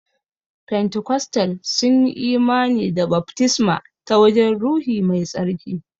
Fentikostal sunyi imani da baftisma ta wurin ruhi mai tsarki.